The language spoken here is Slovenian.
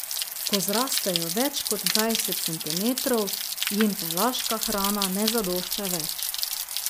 Ko zrastejo več kot dvajset centimetrov, jim pelaška hrana ne zadošča več.